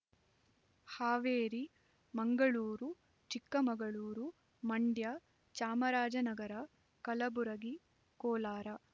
Haveri Mangaluru Chikkamagaluru Mandya Chamarajanagar Kalaburagi Kolar